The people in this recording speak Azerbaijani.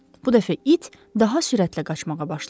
Bu dəfə it daha sürətlə qaçmağa başladı.